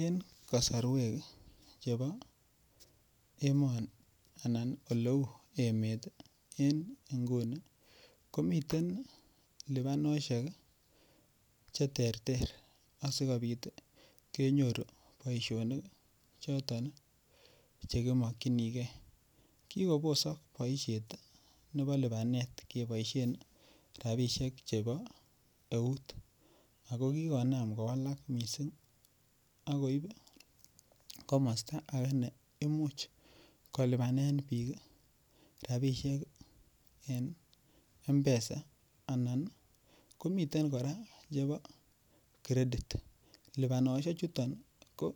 en kosorweek chebo emoni anan oleuu emeet iih en inguni komiten lebanoshek iih cheterter asigobiit iih kenyoru boishonik choton chegimokyinigee, kigobosok boisheet nebo libaneet keboishen rabishek chebo eeut ago kigonaam kowalaak mising ak koib komosta neimuch kolubaneen biik rabishek iih en Mpesa anan komiten koraa chebo credit, libaonoshek chuton ko